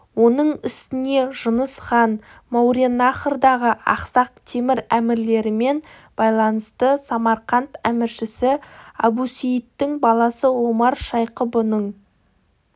оның үстіне жұныс хан мауреннахрдағы ақсақ темір әмірлерімен байланысты самарқант әміршісі әбусейіттің баласы омар шайқы бұның